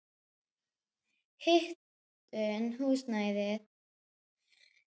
Hitun húsnæðis er þar efst á blaði.